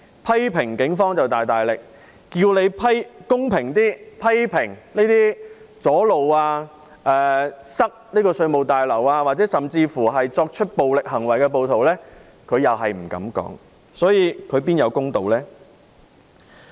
批評警方就大大力，要求他公平一點批評那些阻路及阻塞稅務大樓，甚至是作出暴力行為的暴徒，他卻不敢多言，他哪會是公道？